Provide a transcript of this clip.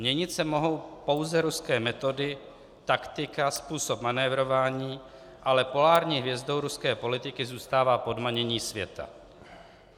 Měnit se mohou pouze ruské metody, taktika, způsob manévrování, ale polární hvězdou ruské politiky zůstává podmanění světa.